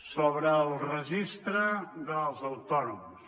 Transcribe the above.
sobre el registre dels autònoms